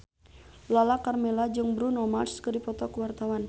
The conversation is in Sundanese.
Lala Karmela jeung Bruno Mars keur dipoto ku wartawan